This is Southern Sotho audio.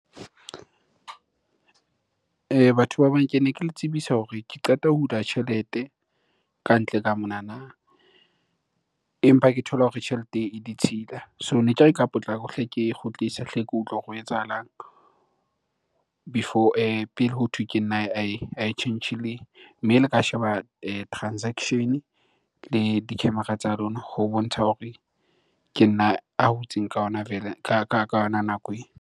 Batho ba bang kene ke le tsebisa hore ke qeta ho hula tjhelete kantle ka monana, empa ke thola hore tjhelete e ditshila. So ne ke re ka potlako hle ke e kgutlise, hle ke utlwe hore ho etsahalang before pele hothwe ke nna ae tjhentjhileng. Mme le ka sheba transaction-e le di-camera tsa lona ho bontsha hore ke nna a hutseng ka hona ka yona nako ena.